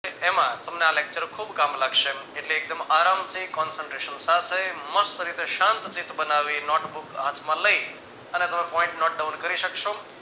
એમાં તમને આ lecture ખુબ કામ લાગશે એટલે એકદમ આરામથી concentration સાથે મસ્ત રીતે શાંતચિત્ત બનાવી notebook હાથમાં લઈ અને તમે point note down કરી શકશો